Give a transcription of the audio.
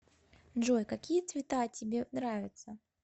джой какие цвета тебе нравятся